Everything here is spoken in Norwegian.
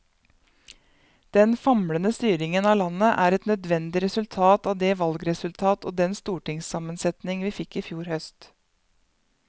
Den famlende styringen av landet er et nødvendig resultat av det valgresultat og den stortingssammensetning vi fikk i fjor høst.